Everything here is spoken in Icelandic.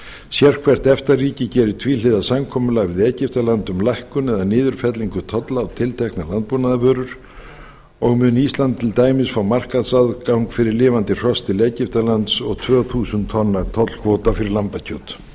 sérhvert efta ríki gerir tvíhliða samkomulag við egyptaland um lækkun eða niðurfellingu tolla á tilteknar landbúnaðarvörur og mun ísland til dæmis fá markaðsaðgang fyrir lifandi hross til egyptalands og tvö þúsund tonna tollkvóta fyrir lambakjöt